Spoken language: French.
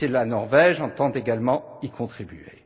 La Suisse et la Norvège entendent également y contribuer.